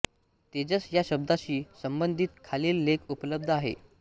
तेजस या शब्दाशी संबंधित खालील लेख उपलब्ध आहेत